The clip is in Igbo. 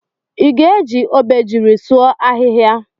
Iga eji Obejiri sụọ ahihia?